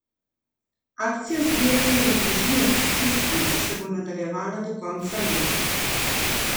Akcija zbiranja za družine v stiski se bo nadaljevala do konca leta.